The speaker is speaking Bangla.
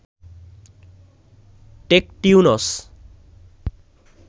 টেকটিউনস